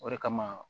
O de kama